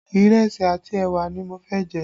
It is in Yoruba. Ìrẹsì àti ẹwà ni mo fẹ́ jẹ